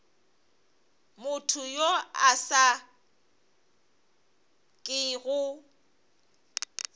motho yo a sa kego